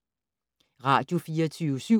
Radio24syv